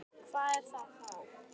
Hvað er það þá?